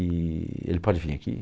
E ele pode vir aqui?